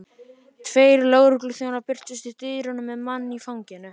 Tveir lögregluþjónar birtust í dyrunum með mann í fanginu.